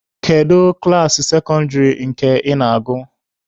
Kedu klaasị sekọndịrị nke ị na-agụ?